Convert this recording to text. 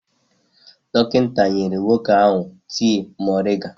Dọkịta nyere nwoke ahụ tii moringa.